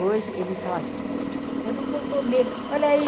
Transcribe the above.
Hoje ele fala assim, eu não vou comer, olha aí,